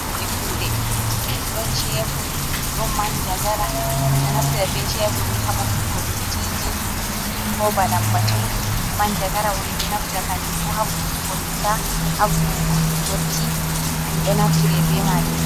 Hunde kuɗe, ɗon cebur, manjagara, min ɗo naftira be cheburni ha boftugo dottiji ko ba lambatu, manjagara bo min do naftira kanjum fu ha vuwugo ngesa, ha vuwugo dotti ɗum ɗo naftire be majum.